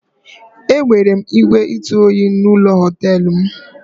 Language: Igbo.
E nwere ígwè ntụoyi n'ime ụlọ họtelụ m.